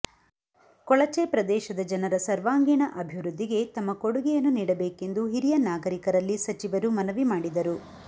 ಕೊಳಚೆ ಪ್ರದೇಶದ ಜನರ ಸರ್ವಾಂಗೀಣ ಆಭಿವೃದ್ಧಿಗೆ ತಮ್ಮ ಕೊಡುಗೆಯನ್ನು ನೀಡಬೇಕೆಂದು ಹಿರಿಯ ನಾಗರಿಕರಲ್ಲಿ ಸಚಿವರು ಮನವಿ ಮಾಡಿದರು